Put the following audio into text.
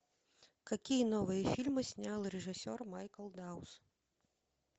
какие новые фильмы снял режиссер майкл даус